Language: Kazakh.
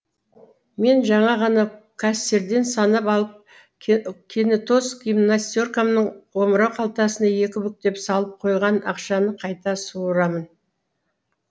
мен жаңа ғана кассирден санап алып кенетоз гимнастеркамның омырау қалтасына екі бүктеп салып қойған ақшаны қайта суырамын